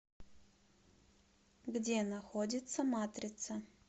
где находится матрица